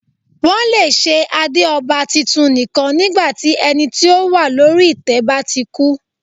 Wọn le ṣe ade ọba titun nikan nígbà tí ẹni ti o wa lori itẹ ba ti ku.